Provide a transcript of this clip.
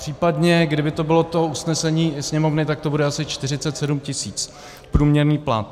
Případně kdyby to bylo to usnesení Sněmovny, tak to bude asi 47 tisíc průměrný plat.